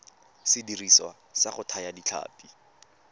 sediriswa sa go thaya ditlhapi